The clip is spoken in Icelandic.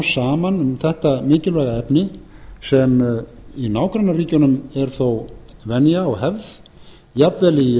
saman um þetta mikilvæga efni sem í nágrannaríkjunum er þó venja og hefð jafnvel í